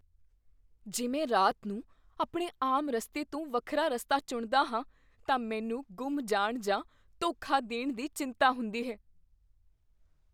ਜੇ ਮੈਂ ਰਾਤ ਨੂੰ ਆਪਣੇ ਆਮ ਰਸਤੇ ਤੋਂ ਵੱਖਰਾ ਰਸਤਾ ਚੁਣਦਾ ਹਾਂ, ਤਾਂ ਮੈਨੂੰ ਗੁੰਮ ਜਾਣ ਜਾਂ ਧੋਖਾ ਦੇਣ ਦੀ ਚਿੰਤਾ ਹੁੰਦੀ ਹੈ।